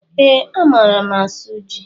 Ee, a maara m asụ ji